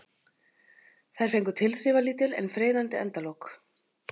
Þær fengu tilþrifalítil en freyðandi endalok.